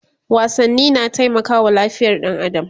wasanni na taimakawa lafiyar ɗan adam